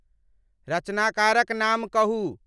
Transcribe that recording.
रचनाकारक नाम कहूं